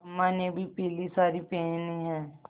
अम्मा ने भी पीली सारी पेहनी है